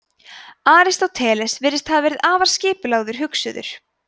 aristóteles virðist hafa verið afar skipulagður hugsuður